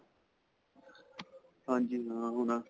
ਹਾਂਜੀ ਹਾਂ. ਓਹ ਨਾ.